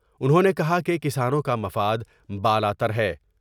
انہوں نے کہا کہ کسانوں کا مفاد بالا تر ہے۔